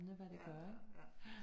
Ja ja ja